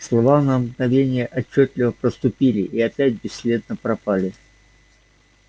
слова на мгновение отчётливо проступили и опять бесследно пропали